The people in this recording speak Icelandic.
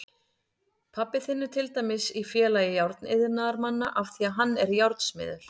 Pabbi þinn er til dæmis í Félagi járniðnaðarmanna af því að hann er járnsmiður.